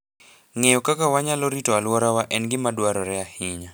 Ng'eyo kaka wanyalo rito alworawa en gima dwarore ahinya.